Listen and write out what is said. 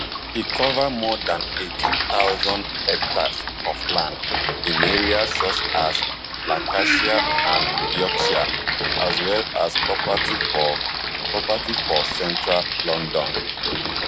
e cover more dan eighteen thousand hectares of land in areas such as lancashire and yorkshire as well as property for property for central london